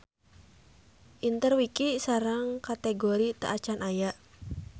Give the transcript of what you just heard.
Interwiki sareng kategori teu acan aya.